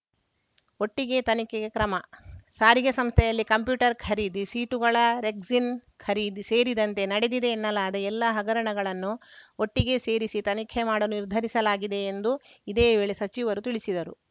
ಒಟ್ಟಿಗೆ ತನಿಖೆಗೆ ಕ್ರಮ ಸಾರಿಗೆ ಸಂಸ್ಥೆಯಲ್ಲಿ ಕಂಪ್ಯೂಟರ್‌ ಖರೀದಿ ಸೀಟುಗಳ ರೆಕ್ಸಿನ್‌ ಖರೀದಿ ಸೇರಿದಂತೆ ನಡೆದಿದೆ ಎನ್ನಲಾದ ಎಲ್ಲ ಹಗರಣಗಳನ್ನು ಒಟ್ಟಿಗೆ ಸೇರಿಸಿ ತನಿಖೆ ಮಾಡಲು ನಿರ್ಧರಿಸಲಾಗಿದೆ ಎಂದು ಇದೇ ವೇಳೆ ಸಚಿವರು ತಿಳಿಸಿದರು